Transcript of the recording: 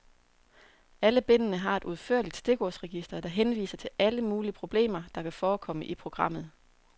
Alle bindene har et udførligt stikordsregister, der henviser til alle mulige problemer, der kan forekomme i programmet.